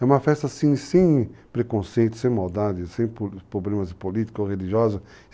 É uma festa assim, sem preconceitos, sem maldade, sem problemas políticos ou religiosos.